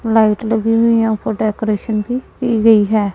Light लगी हुई है यहां पर डेकोरेशन भी की गई है।